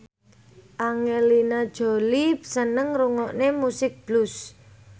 Angelina Jolie seneng ngrungokne musik blues